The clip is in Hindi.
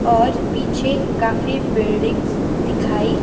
और पीछे काफी बिल्डिंग्स दिखाई--